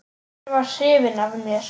Hann var hrifinn af mér.